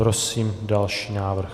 Prosím další návrh.